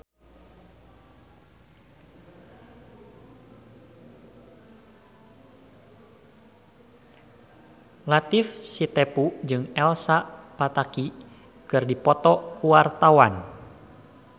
Latief Sitepu jeung Elsa Pataky keur dipoto ku wartawan